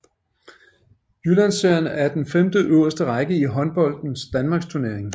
Jyllandsserien er den femteøverste række i håndboldens danmarksturnering